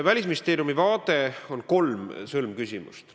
Välisministeeriumi vaates on kolm sõlmküsimust.